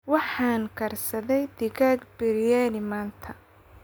Waxaan karsaday digaag biryani maanta.